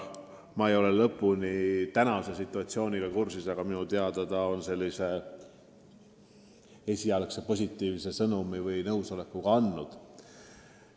Ma ei ole praeguse situatsiooniga peensusteni kursis, aga minu teada ta on esialgse nõusoleku andnud.